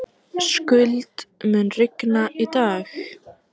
Skuld, mun rigna í dag?